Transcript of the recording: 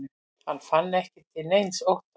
Hann fann ekki til neins ótta.